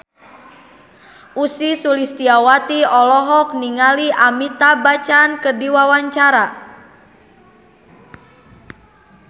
Ussy Sulistyawati olohok ningali Amitabh Bachchan keur diwawancara